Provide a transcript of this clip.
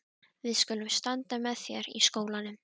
Við skulum standa með þér í skólanum.